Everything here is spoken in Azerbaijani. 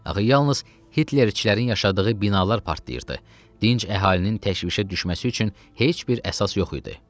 Axı yalnız Hitlerçilərin yaşadığı binalar partlayırdı, dinc əhalinin təşvişə düşməsi üçün heç bir əsas yox idi.